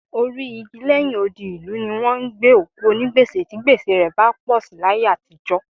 Orí igi lẹ́yìn odi ìlú ni wọ́n ń gbé òkú onígbèsè tí gbèsè rẹ bá pọ̀ sí láyé àtijọ́